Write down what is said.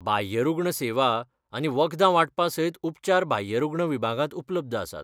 बाह्यरुग्ण सेवा आनी वखदां वांटपा सयत उपचार बाह्यरुग्ण विभागांत उपलब्ध आसात.